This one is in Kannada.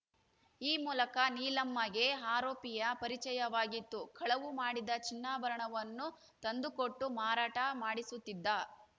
ಈ ಮೂಲಕ ನೀಲಮ್ಮಗೆ ಆರೋಪಿಯ ಪರಿಚಯವಾಗಿತ್ತು ಕಳವು ಮಾಡಿದ ಚಿನ್ನಾಭರಣವನ್ನು ತಂದುಕೊಟ್ಟು ಮಾರಾಟ ಮಾಡಿಸುತ್ತಿದ್ದ